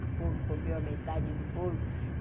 O bolo comeu a metade do bolo.